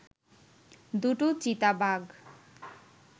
দুটো চিতাবাঘ